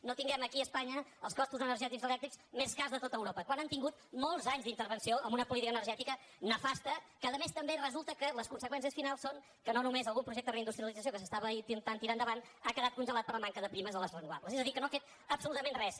no tinguem aquí a espanya els costos energètics elèctrics més cars de tot europa quan han tingut molts anys d’intervenció amb una política energètica nefasta que a més també resulta que les conseqüències finals són que no només algun projecte de reindustrialització que s’intentava tirar endavant ha quedat congelat per la manca de primes a les renovables és a dir que no han fet absolutament res